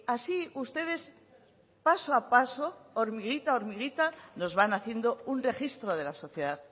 así ustedes paso a paso hormiguita a hormiguita nos van haciendo un registro de la sociedad